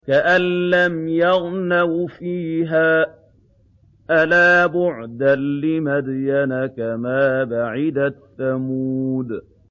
كَأَن لَّمْ يَغْنَوْا فِيهَا ۗ أَلَا بُعْدًا لِّمَدْيَنَ كَمَا بَعِدَتْ ثَمُودُ